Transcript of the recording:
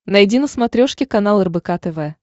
найди на смотрешке канал рбк тв